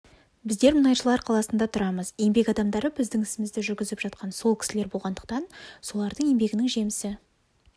біздер мұнайшылар қаласында тұрамыз еңбек адамдары біздің ісімізді жүргізіп жатқан сол кісілер болғандықтан солардың еңбегінің жемісі